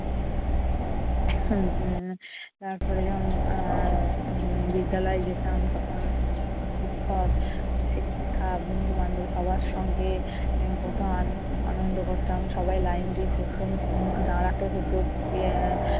তারপরে যখন আহ উম মানে বিদ্যালয়ে যেতাম, তখন শিক্ষক শিক্ষিকা বন্ধু বান্ধব সবার সঙ্গে কত আ~ আনন্দ করতাম। সবাই লাইন দিয়ে প্রথম উম দাঁড়াতে হতো এর